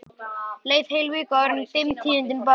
Leið heil vika áður en dimm tíðindin bárust til þeirra.